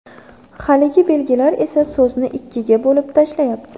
Haligi belgilar esa so‘zni ikkiga bo‘lib tashlayapti.